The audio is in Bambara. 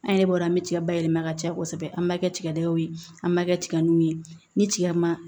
An yɛrɛ bɔra an bɛ cɛya bayɛlɛma ka ca kosɛbɛ an b'a kɛ tigadɛgɛnw ye an b'a kɛ tigamin ni tiga ma